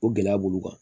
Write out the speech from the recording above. O gɛlɛya b'olu kan